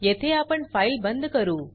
येथे आपण फाइल बंद करू